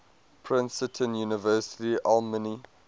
princeton university alumni